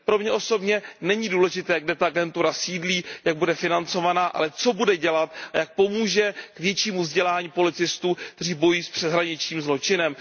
Pro mě osobně není důležité, kde ta agentura sídlí, jak bude financována, ale co bude dělat, jak pomůže k většímu vzdělání policistů, kteří bojují s přeshraničním zločinem.